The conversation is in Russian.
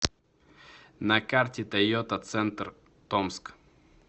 на карте тойота центр томск